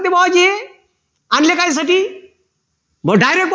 भो direct